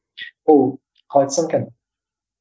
ол қалай айтсам екен